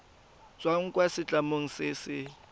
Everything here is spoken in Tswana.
tswang kwa setlamong se se